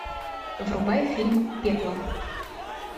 врубай фильм пекло